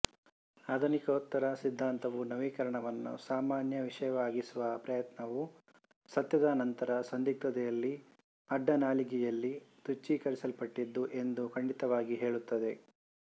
ಆಧುನಿಕೋತ್ತರ ಸಿದ್ಧಾಂತವು ನವೀಕರಣವನ್ನು ಸಾಮಾನ್ಯ ವಿಷಯವಾಗಿಸುವ ಪ್ರಯತ್ನವು ಸತ್ಯದ ನಂತರ ಸಂಧಿಗ್ಧತೆಯಲ್ಲಿ ಅಡ್ಡನಾಲಿಗೆಯಲ್ಲಿ ತುಚ್ಛೀಕರಿಸಲ್ಪಟ್ಟಿದ್ದು ಎಂದು ಖಂಡಿತವಾಗಿ ಹೇಳುತ್ತದೆ